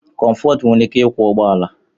Comfort nwere ike ịkwọ ụgbọ ala